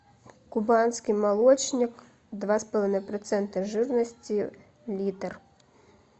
кубанский молочник два с половиной процента жирности литр